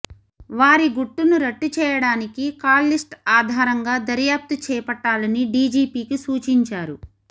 వారి గుట్టును రట్టు చేయడానికి కాల్ లిస్ట్ ఆధారంగా దర్యాప్తు చేపట్టాలని డీజీపీకీ సూచించారు